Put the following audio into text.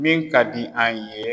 Min ka di an ye